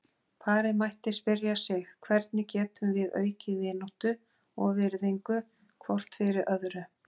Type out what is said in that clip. Parið mætti spyrja sig: Hvernig getum við aukið vináttu og virðingu hvort fyrir öðru?